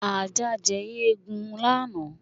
Ajá jẹ eegun lánàá.